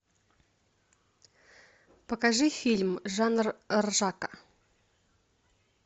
покажи фильм жанр ржака